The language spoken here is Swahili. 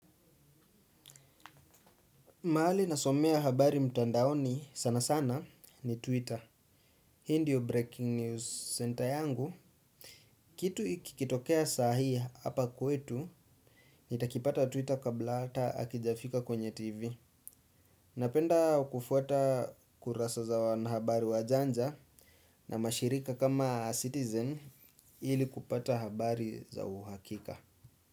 Mahali nasomea habari mtandaoni sana sana ni Twitter. Hii ndio Breaking News Center yangu. Kitu kikitokea sahi hapa kwetu nitakipata Twitter kabla ata hakijafika kwenye TV. Napenda kufuata kurasa za wanahabari wajanja. Na mashirika kama citizen ili kupata habari za uhakika.